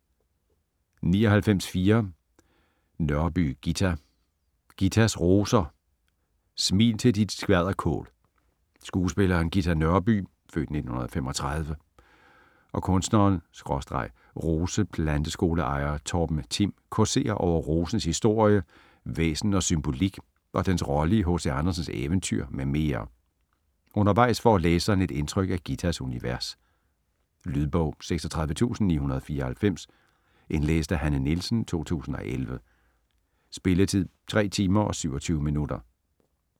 99.4 Nørby, Ghita Ghitas roser: smil til dit skvalderkål Skuespilleren Ghita Nørby (f. 1935) og kunstneren/roseplanteskoleejer Torben Thim causerer over rosens historie, væsen og symbolik og dens rolle i H.C. Andersens eventyr med mere. Undervejs får læseren et indtryk af Ghitas univers. Lydbog 36994 Indlæst af Hanne Nielsen, 2011. Spilletid: 3 timer, 27 minutter.